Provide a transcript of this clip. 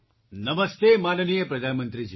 નમસ્તે માનનીય પ્રધાનમંત્રીજી